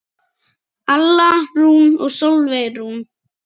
Alla Rún og Sólveig Rún.